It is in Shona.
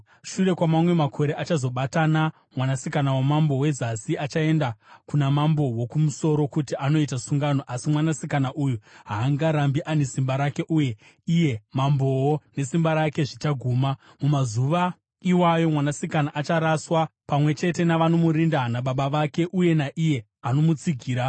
Shure kwamamwe makore, vachazobatana. Mwanasikana wamambo weZasi achaenda kuna mambo woKumusoro kuti anoita sungano, asi mwanasikana uyu haangarambi ane simba rake, uye iye mambowo nesimba rake zvichaguma. Mumazuva iwayo mwanasikana acharaswa, pamwe chete navanomurinda nababa vake uye naiye anomutsigira.